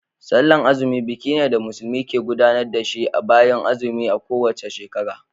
Sallan azumi buki ne da musulmi ke gudanar da shi bayan azumi a kowace shekara.